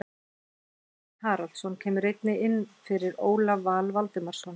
Tryggvi Hrafn Haraldsson kemur einnig inn fyrir Ólaf Val Valdimarsson.